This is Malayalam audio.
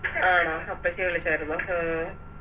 ആണോ അപ്പച്ചി വിളിച്ചാരുന്നോ ആഹ്